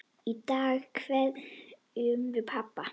Í dag kveðjum við pabba.